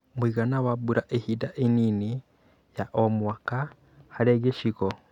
Mũigana wa mbura ihinda inini ya o mwaka hari gĩcigo